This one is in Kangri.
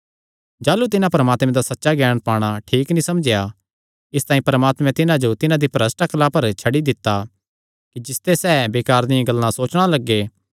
जाह़लू तिन्हां परमात्मे दा सच्चा ज्ञान पाणा ठीक नीं समझेया इसतांई परमात्मैं तिन्हां जो तिन्हां दी भरष्ठ अक्ला पर छड्डी दित्ता कि जिसते सैह़ बेकार दियां गल्लां सोचणा लग्गे